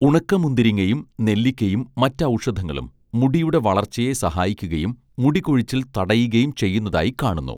ഉണക്കമുന്തിരിങ്ങയും നെല്ലിക്കയും മറ്റ് ഔഷധങ്ങളും മുടിയുടെ വളർച്ചയെ സഹായിക്കുകയും മുടികൊഴിച്ചിൽ തടയുകയും ചെയ്യുന്നതായിക്കാണുന്നു